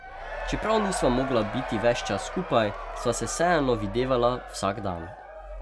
Čeprav nisva mogla biti ves čas skupaj, sva se vseeno videvala vsak dan.